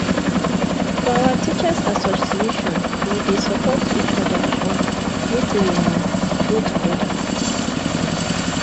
for our teachers association we dey support each oda um make we um grow togeda